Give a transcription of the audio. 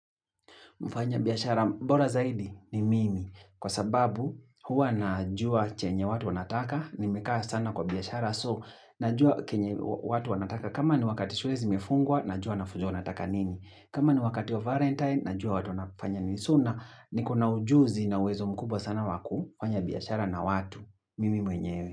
Mfanya biashara bora zaidi ni mimi, kwa sababu huwa najua chenye watu wanataka, nimekaa sana kwa biashara, so najua chenye watu wanataka, kama ni wakati shule zimefungwa, najua wanafunzi wanataka nini, kama ni wakati wa Valentine, najua watu wanafanya nini so na, niko na ujuzi na uwezo mkubwa sana waku, fanya biashara na watu, mimi mwenyewe.